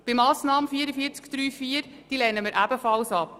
Die Massnahme 44.3.4 lehnen wir ebenfalls ab.